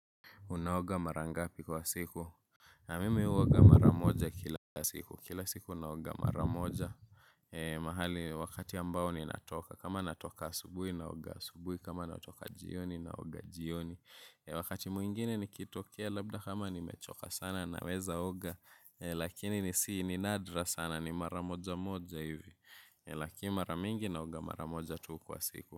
Unaoga mara ngapi kwa siku. Na mimi huoga maramoja kila siku kila siku naoga maramoja. Mahali wakati ambao ninatoka kama natoka asubuhi naoga asubuhi kama natoka jioni naoga jioni wakati mwingine nikitokea labda kama nimechoka sana naweza oga lakini ni sii ni nadra sana ni maramoja moja hivi lakini mara mingi naoga maramoja tu kwa siku.